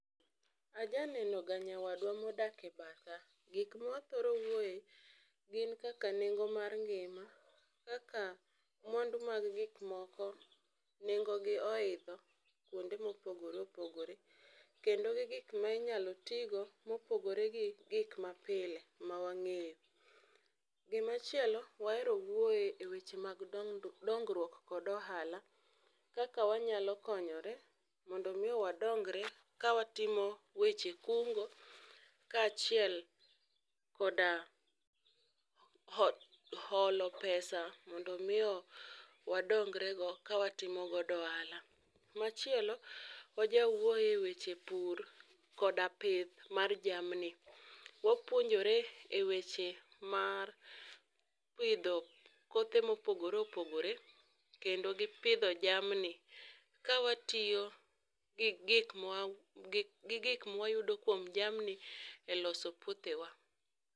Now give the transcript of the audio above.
aja neno ga nyawadwa modak e batha. Gik mwathoro wuoye gin kaka nengo mar ngima kaka mwandu mag gik moko nengo gi oidho kuonde mopogore opogore kendo gi gik minyalo tigo mopogore gi gik mapile mawang'eyo. Gima chielo wahero wuoye weche mag dongruok kod ohala kaka wanyalo konyore mondo mi wadongre kawatimo weche kungo kaachiel koda holo pesa mondo mi yo wadongre go ka watimogo ohala. Machielo wajawuoye weche pur koda pith mar jamni, wapuonjore e weche pur mar pidho kothe mopogore opogore kendo gi pidho jamni ka watiyo gi gik mwayudo kuom jamni e loso puothewa.